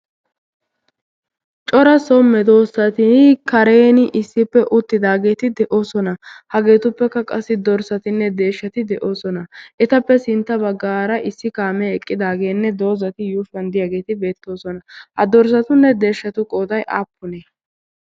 cora somme doossati kareeni issippe uttidaageeti de'oosona. hageetuppekka qassi dorssatinne deeshshati de'oosona. etappe sintta baggaara issi kaamee eqqidaageenne doozati yuushwaan diyaageeti beettoosona. ha dorssatunne deeshshatu qooday aappunee?